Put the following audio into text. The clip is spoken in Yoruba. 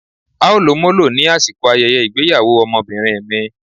á o lò molo, ni asikò ayẹyẹ ìgbéyàwò Ọmọbinrin mi.